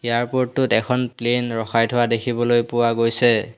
Airport টোত এখন plane ৰখাই থোৱা দেখিবলৈ পোৱা গৈছে।